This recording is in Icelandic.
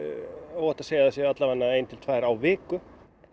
óhætt að segja að það séu alla vegana ein til tvær á viku